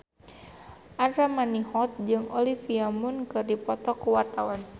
Andra Manihot jeung Olivia Munn keur dipoto ku wartawan